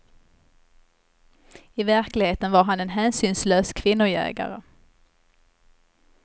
I verkligheten var han en hänsynslös kvinnojägare.